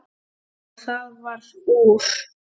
Og það varð úr.